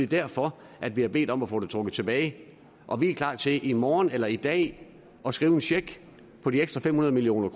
derfor at vi har bedt om at få det trukket tilbage og vi er klar til i morgen eller i dag at skrive en check på de ekstra fem hundrede million